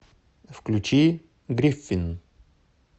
включи гриффин